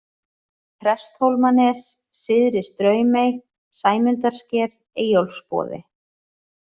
Presthólmanes, Syðri-Straumey, Sæmundarsker, Eyjólfsboði